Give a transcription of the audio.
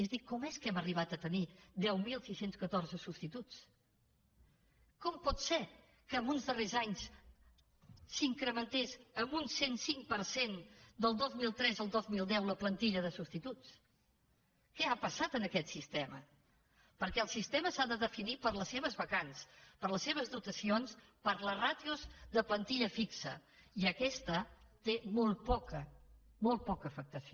és dir com és que hem arribat a tenir deu mil sis cents i catorze substituts com pot ser que els darrers anys s’incrementés en un cent i cinc per cent del dos mil tres al dos mil deu la plantilla de substituts què ha passat en aquest sistema perquè el sistema s’ha de definir per les seves vacants per les seves dotacions i per les ràtios de plantilla fixa i aquesta té molt poca afectació